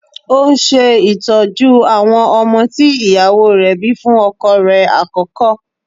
Ó ń ṣe ìtọ́jú àwọn ọmọ tí ìyàwó rẹ̀ bíi fún ọkọ rẹ̀ àkọ́kọ́.